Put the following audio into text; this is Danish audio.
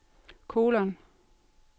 kolon